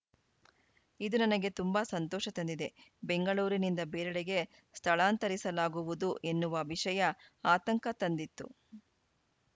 ಇದು ನನಗೆ ತುಂಬಾ ಸಂತೋಷ ತಂದಿದೆ ಬೆಂಗಳೂರಿನಿಂದ ಬೇರೆಡೆಗೆ ಸ್ಥಳಾಂತರಿಸಲಾಗುವುದು ಎನ್ನುವ ವಿಷಯ ಆತಂಕ ತಂದಿತ್ತು